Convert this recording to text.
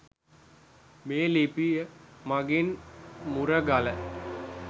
මේ ලිපිය මගින් මුරගල